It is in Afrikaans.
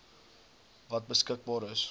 wat beskikbaar is